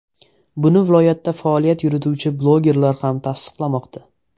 Buni viloyatda faoliyat yurituvchi blogerlar ham tasdiqlamoqda.